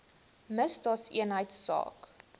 misdaadeenheidsaak